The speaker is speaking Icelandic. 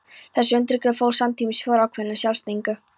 Þessi undirgefni fól samtímis í sér ákveðna sjálfsþekkingu.